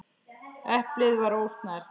Eplið var ósnert.